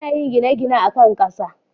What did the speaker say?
ana yin gine-gine akan Kasa